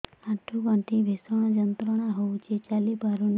ଆଣ୍ଠୁ ଗଣ୍ଠି ଭିଷଣ ଯନ୍ତ୍ରଣା ହଉଛି ଚାଲି ପାରୁନି